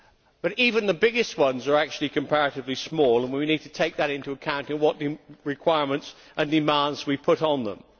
But even the biggest ones are actually comparatively small, and we need to take that into account in what requirements and demands we put on them.